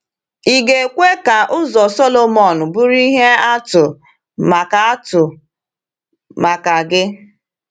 Ị ga-ekwe ka ụzọ Sọlọmọn bụrụ ihe atụ maka atụ maka gị?